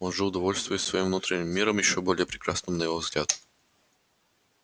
он жил довольствуясь своим внутренним миром ещё более прекрасным на его взгляд